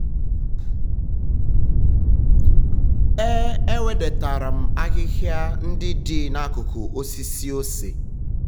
e ewedatara m ahịhịa ndị dị n'akụkụ osisi ose.